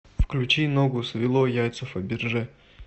включи ногу свело яйца фаберже